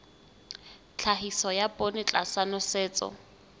tlhahiso ya poone tlasa nosetso